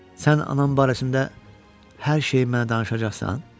Sən anam barəsində hər şeyi mənə danışacaqsan?